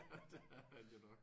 Det er han jo nok